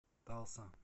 талса